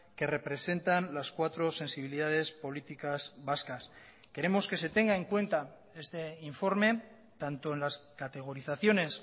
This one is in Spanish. que representan las cuatro sensibilidades políticas vascas queremos que se tenga en cuenta este informe tanto en las categorizaciones